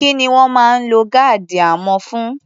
Kí ni wọ́n máa ń lo gáàdì amọ̀ fún?